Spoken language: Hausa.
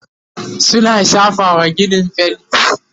suna shafawa ginin fainti